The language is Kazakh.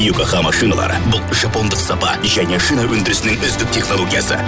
йокохама шиналары бұл жапондық сапа және шина өндірісінің үздік технологиясы